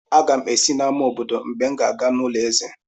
Aga m esi n'amá obodo mgbe m ga-aga n'ulo eze;